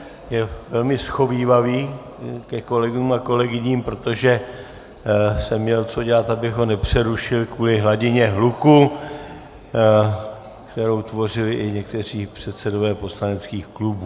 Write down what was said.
Je velmi shovívavý ke kolegům a kolegyním, protože jsem měl co dělat, abych ho nepřerušil kvůli hladině hluku, kterou tvořili i někteří předsedové poslaneckých klubů.